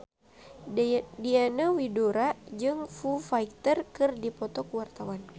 Diana Widoera jeung Foo Fighter keur dipoto ku wartawan